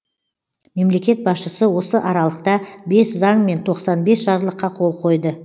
мемлекет басшысы осы аралықта бес заң мен тоқсан бес жарлыққа қол қойды